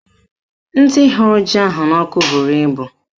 Ndị hụrụ ji ahụ n'ọkụ bụrụ ibu